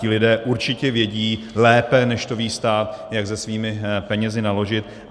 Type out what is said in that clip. Ti lidé určitě vědí lépe, než to ví stát, jak se svými penězi naložit.